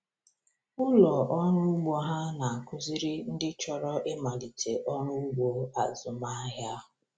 Ụlọ ọrụ ugbo ha na-akụziri ndị chọrọ ịmalite ọrụ ugbo azụmahịa.